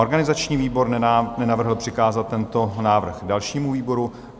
Organizační výbor nenavrhl přikázat tento návrh dalšímu výboru.